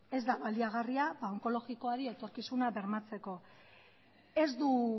ez da baliagarria onkologikoari etorkizuna bermatzeko ez du